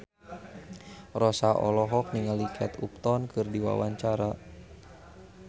Rossa olohok ningali Kate Upton keur diwawancara